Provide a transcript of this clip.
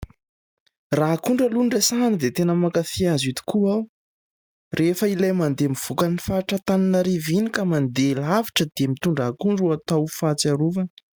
Raha akondro aloha no resahana dia tena mankafỳ azy io tokoa aho. Rehefa ilay mandeha mivoaka ny faritr'Antananarivo iny ka mandeha lavitra dia mitondra akondro ho atao fahatsiarovana.